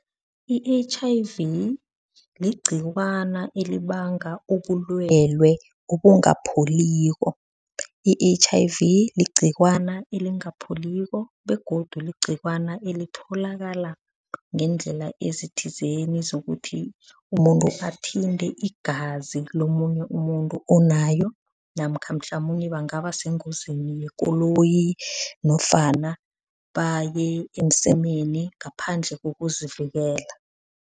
I-H_I_V ligcikwana elibanga ubulwele obungapholiko. I-H_I_V ligcikwana elingapholiko begodu ligcikwana elitholakala ngeendlela ezithizeni zokuthi umuntu athinte igazi lomunye umuntu onayo namkha mhlamunye bangaba sengozini yekoloyi nofana baye emsemeni ngaphandle kokuzivikela.